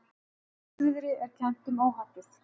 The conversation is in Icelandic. Hvassviðri er kennt um óhappið